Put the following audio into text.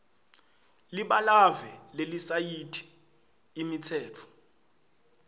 libalave lelisayithi imitsetfo